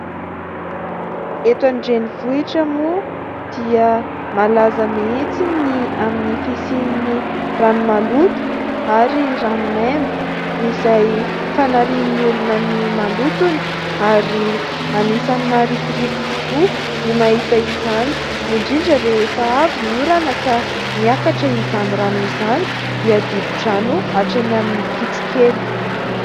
Eto andrenivohitra moa dia malaza mihitsy ny amin'ny fisian'ny rano maloto ary rano maimbo, izay fanarian'ny olona ny malotony ary anisan'ny maharikoriko tokoa ny mahita izany, indrindra rehefa avy ny orana ka miakatra izany rano izany dia dibo-drano hatreny amin'ny kitrokely.